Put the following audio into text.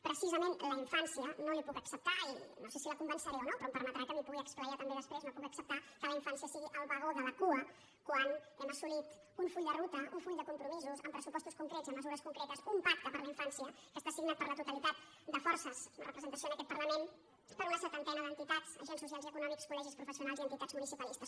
precisament la infància no li puc acceptar i no sé si la convenceré o no però em per·metrà que m’hi pugui esplaiar també després no puc acceptar que la infància sigui el vagó de la cua quan hem assolit un full de ruta un full de compromisos amb pressupostos concrets i amb mesures concretes un pacte per la infància que està signat per la totalitat de forces amb representació en aquest parlament per una setantena d’entitats agents socials i econòmics col·legis professionals i entitats municipalistes